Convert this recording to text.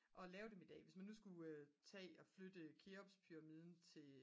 og lave dem i dag hvis nu man skulle tage at flytte keopspyramiden til